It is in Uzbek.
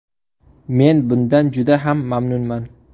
Men bundan juda ham mamnunman.